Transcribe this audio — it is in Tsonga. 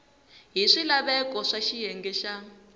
hi swilaveko swa xiyenge xa